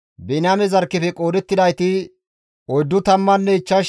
Biniyaame zarkkefe qoodettidayti 45,600 addeta.